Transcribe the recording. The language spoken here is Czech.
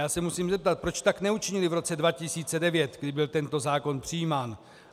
Já se musím zeptat: Proč tak neučinili v roce 2009, kdy byl tento zákon přijímán?